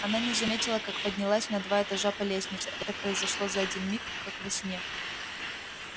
она не заметила как поднялась на два этажа по лестнице это произошло за один миг как во сне